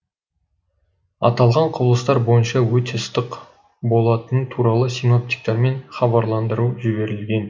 аталған құбылыстар бойынша өте ыстық болатыны туралы синоптиктермен хабарландыру жіберілген